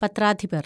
പത്രാധിപര്‍